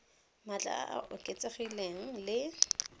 maatla a a oketsegileng le